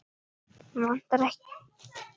Vantar ykkur ekki hosur?